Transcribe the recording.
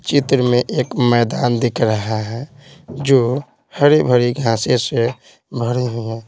चित्र में एक मैदान दिख रहा है जो हरी भरी घांसे से भरे हुए हैं।